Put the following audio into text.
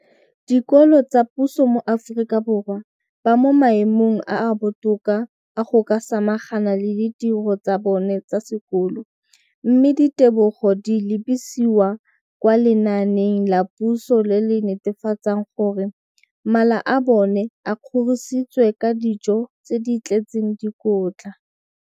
dikolo tsa puso mo Aforika Borwa ba mo maemong a a botoka a go ka samagana le ditiro tsa bona tsa sekolo, mme ditebogo di lebisiwa kwa lenaaneng la puso le le netefatsang gore mala a bona a kgorisitswe ka dijo tse di tletseng dikotla.